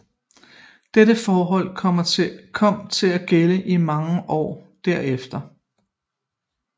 Det forhold kom til at gælde i mange år derefter